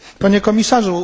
Panie Komisarzu!